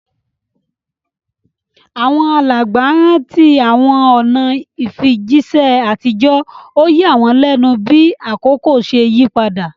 Àwọn alàgbà rántí àwọn ọ̀nà ìfijíṣẹ́ àtijọ́, ó yà wọ́n lẹ́nu bí àkókò ṣe yí padà.